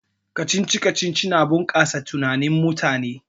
Kacici-kacici yana bunkasa tunanin mutum